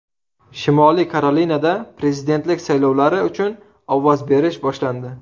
Shimoliy Karolinada prezidentlik saylovlari uchun ovoz berish boshlandi .